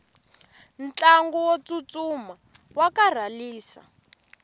ntlangu wo tsutsuma wa karhalisa